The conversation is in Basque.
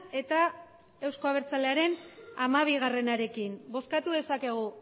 eta eusko abertzalearen hamabiarekin bozkatu dezakegu